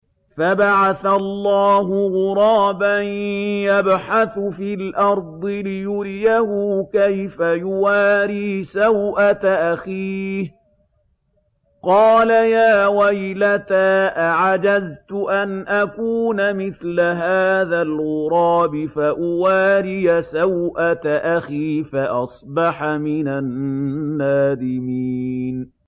فَبَعَثَ اللَّهُ غُرَابًا يَبْحَثُ فِي الْأَرْضِ لِيُرِيَهُ كَيْفَ يُوَارِي سَوْءَةَ أَخِيهِ ۚ قَالَ يَا وَيْلَتَا أَعَجَزْتُ أَنْ أَكُونَ مِثْلَ هَٰذَا الْغُرَابِ فَأُوَارِيَ سَوْءَةَ أَخِي ۖ فَأَصْبَحَ مِنَ النَّادِمِينَ